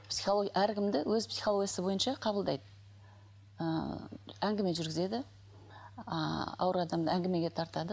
әркімді өз психологиясы бойынша қабылдайды ы әңгіме жүргізеді ы ауру адамды әңгімеге тартады